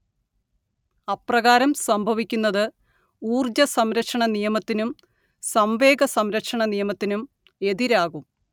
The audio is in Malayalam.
അപ്രകാരം സംഭവിക്കുന്നത് ഊർജ്ജസംരക്ഷണനിയമത്തിനും സംവേഗസംരക്ഷണനിയമത്തിനും എതിരാകും